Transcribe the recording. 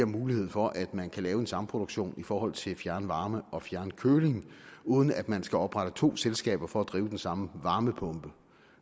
mulighed for at man kan lave en samproduktion i forhold til fjernvarme og fjernkøling uden at man skal oprette to selskaber for at drive den samme varmepumpe